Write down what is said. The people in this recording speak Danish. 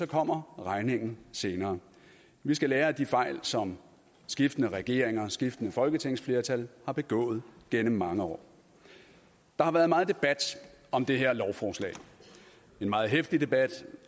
kommer regningen senere vi skal lære af de fejl som skiftende regeringer og skiftende folketingsflertal har begået gennem mange år der har været meget debat om det her lovforslag en meget heftig debat